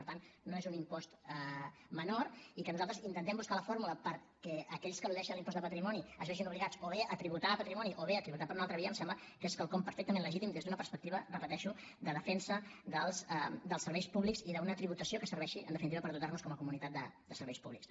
per tant no és un impost menor i que nosaltres intentem buscar la fórmula perquè aquells que eludeixen l’impost de patrimoni es vegin obligats o bé a tributar a patrimoni o bé a tributar per una altra via em sembla que és quelcom perfectament legítim des d’una perspectiva repeteixo de defensa dels serveis públics i d’una tributació que serveixi en definitiva per dotar nos com a comunitat de serveis públics